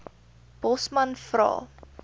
bosman vra